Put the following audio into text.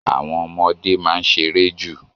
Àwọn ọmọdé máa ń ṣeré jù